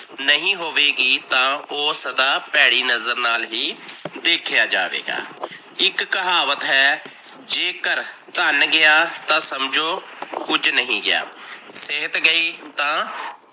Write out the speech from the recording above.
ਨਹੀ ਹੋਵੇਗੀ ਤਾਂ ਓਹ ਸਦਾ ਭੇੜੀ ਨਜਰ ਨਾਲ ਹੀ ਦੇਖਿਆ ਜਾਵੇਗਾ। ਇੱਕ ਕਹਾਵਤ ਹੈ, ਜੇਕਰ ਧਨ ਗਿਆ ਤਾਂ ਸਮਜੋ ਕੁਝ ਨੀ ਗਿਆ ਸਿਹਤ ਗਈ ਤਾਂ